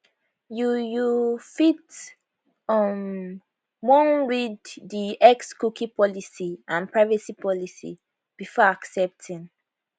you you fit um wan read di xcookie policyandprivacy policybefore accepting